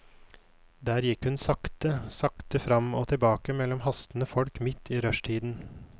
Der gikk hun sakte, sakte, frem og tilbake mellom hastende folk midt i rushtiden.